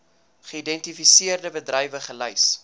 geïdentifiseerde bedrywe gelys